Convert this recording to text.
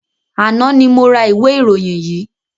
Àná ni mo ra ìwé ìròyìn yìí.